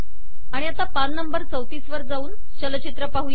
आिता पान ३४ वर जाऊमागे जाऊन आता चलचित्र पाहू